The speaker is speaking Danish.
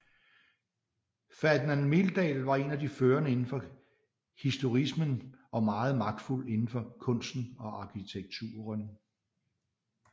Ferdinand Meldahl var en af de førende indenfor historicismen og meget magtfuld indenfor kunsten og arkitekturen